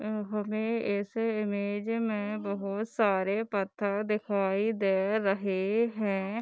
हमें इस इमेंज में बहोत सारे पत्थर दिखाई दें रहे हैं।